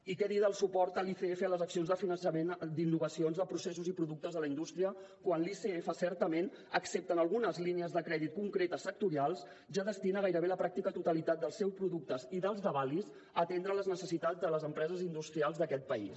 i què dir del suport a l’icf a les accions de finançament d’innovacions de processos i productes de la indústria quan l’icf certament excepte en algunes línies de crèdit concretes sectorials ja destina gairebé la pràctica totalitat dels seus productes i dels d’avalis a atendre les necessitats de les empreses industrials d’aquest país